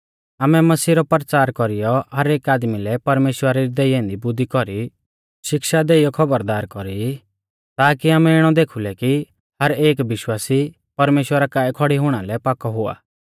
आमै मसीह रौ परचार कौरीयौ हर एक आदमी लै परमेश्‍वरा री देई ऐन्दी बुद्धी कौरी शिक्षा देइयौ खौबरदार कौरी ताकी आमै इणौ देखुलै कि हर एक विश्वासी परमेश्‍वरा काऐ खौड़ी हुणा लै पाकौ हुआ